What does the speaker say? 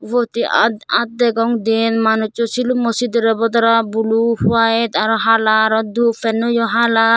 ubot hj aat aat degong diyen manusso silummo siderey bodora blue white aro hala aro dup penyo hala.